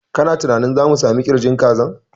Kana tunanin za mu sami ƙirjin kazan?